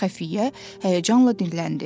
Xəfiyyə həyəcanla dinləndi.